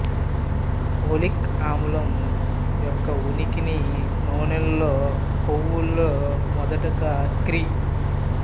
ఒలిక్ అమ్లం యొక్క ఉనికిని నూనెలలో కొవ్వు లలో మొదటగా క్రీ